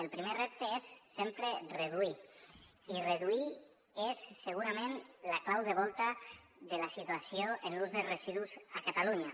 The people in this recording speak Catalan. el primer repte és sempre reduir i reduir és segurament la clau de volta de la situació en l’ús de residus a catalunya